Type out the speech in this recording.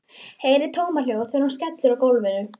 Heyri tómahljóð þegar hún skellur á gólfinu.